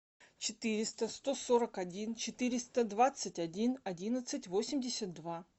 четыреста сто сорок один четыреста двадцать один одиннадцать восемьдесят два